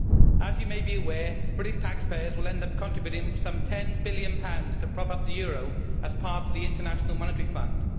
As you may be aware, British taxpayers will end up contributing some GBP 10 billion to prop up the euro as part of the International Monetary Fund.